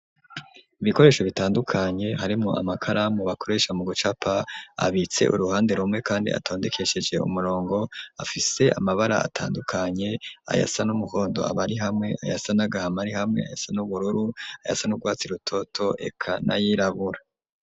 Ibikoresho bitandukanye harimwo amakaramu ,bakoresha mu gucapa ,abitse uruhande rumwe ,kandi atondekesheje umurongo, afise amabara atandukanye, ayasa n'umuhondo aba ari hamwe ,ayasanagahama rihamwe ,ayasa n'ubururu, ayasa n'ugwatsi rutoto eka nayirabura.